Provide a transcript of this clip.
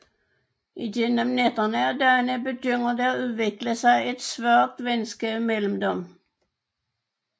Igennem nætterne og dagene begynder der udvikler sig et svagt venskab mellem dem